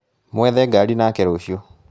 Mwethe ngaaria nake rũciũ